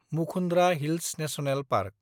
Mukundra hills national park